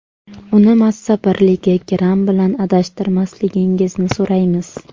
Uni massa birligi gramm bilan adashtirmasligingizni so‘raymiz.